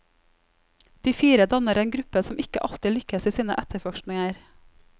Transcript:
De fire danner en gruppe som ikke alltid lykkes i sine etterforskninger.